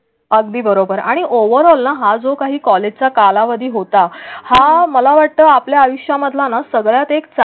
अगदी बरोबर आणि ओवरऑलला हा जो काही कॉलेजचा कालावधी होता हा मला वाटतं आपल्या आयुष्यातला सगळ्यात एक.